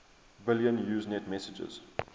billion usenet messages